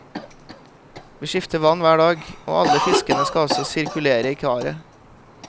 Vi skifter vann hver dag, og alle fiskene skal også sirkulere i karet.